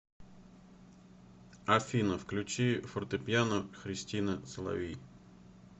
афина включи фортепиано христина соловей